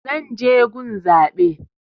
Zan je gun zaɓe